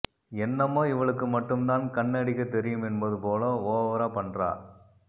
என்னமோ இவளுக்கு மட்டும் தான் கண்ணடிக்கத் தெரியும் என்பது போல ஓவரா பண்றா